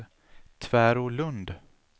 Tvärålund